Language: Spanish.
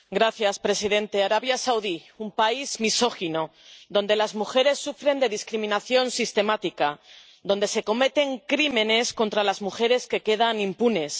Señor presidente, Arabia Saudí es un país misógino, donde las mujeres sufren de discriminación sistemática, donde se comenten crímenes contra las mujeres que quedan impunes.